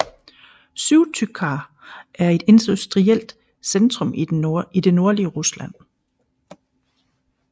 Syktyvkar er et industrielt centrum i det nordlige Rusland